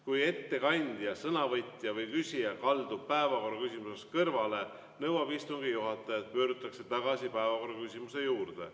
Kui ettekandja, sõnavõtja või küsija kaldub päevakorraküsimusest kõrvale, nõuab istungi juhataja, et pöördutaks tagasi päevakorraküsimuse juurde.